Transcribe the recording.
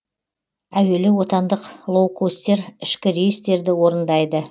әуелі отандық лоукостер ішкі рейстерді орындайды